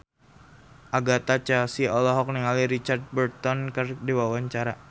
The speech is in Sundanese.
Agatha Chelsea olohok ningali Richard Burton keur diwawancara